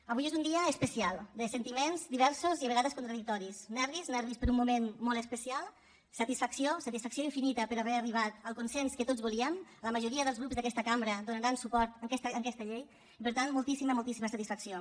avui és un dia especial de sentiments diversos i a vegades contradictoris nervis nervis per un moment molt especial satisfacció satisfacció infinita per haver arribat al consens que tots volíem la majoria dels grups d’aquesta cambra donaran suport a aquesta llei i per tant moltíssima moltíssima satisfacció